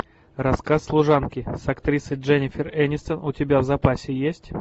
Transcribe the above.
рассказ служанки с актрисой дженнифер энистон у тебя в запасе есть